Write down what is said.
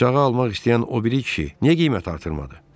Bıçağı almaq istəyən o biri kişi niyə qiymət artırmadı?